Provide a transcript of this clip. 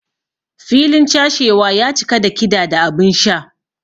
Filin chashewa ya cika da kida da abinsha.